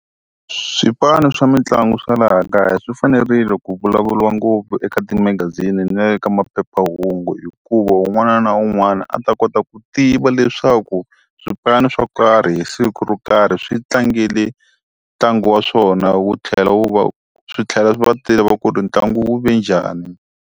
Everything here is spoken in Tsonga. Swipano swa mitlangu swa laha kaya swi fanerile ku vulavuriwa ngopfu eka timagazini na le ka maphephahungu hikuva un'wana na un'wana a ta kota ku tiva va leswaku, swipano swo karhi hi siku ro karhi swi tlangele ntlangu wa swona wu tlhela wu va wu, swi tlhela swi va tiva ku ri ntlangu wu ve njhani